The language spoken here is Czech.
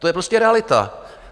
To je prostě realita.